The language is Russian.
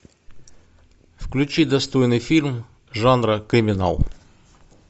включи достойный фильм жанра криминал